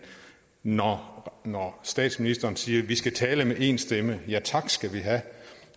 når når statsministeren siger at vi skal tale med én stemme ja tak skal vi have